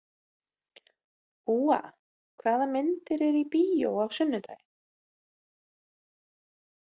Úa, hvaða myndir eru í bíó á sunnudaginn?